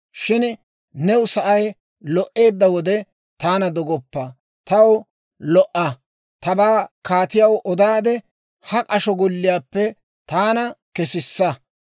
Shin new sa'ay lo"eedda wode taana dogoppa; taw lo"a; tabaa kaatiyaw odaadde, ha k'asho golliyaappe taana kesissa;